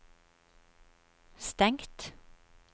stengt